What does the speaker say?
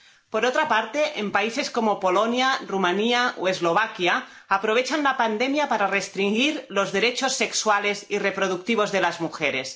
Por otra parte, en países como Polonia, Rumanía o Eslovaquia se aprovecha la pandemia para restringir los derechos sexuales y reproductivos de las mujeres.